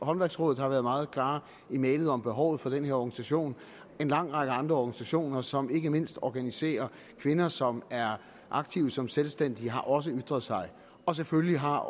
håndværksrådet har været meget klare i mælet om behovet for den her organisation en lang række andre organisationer som ikke mindst organiserer kvinder som er aktive som selvstændige har også ytret sig og selvfølgelig har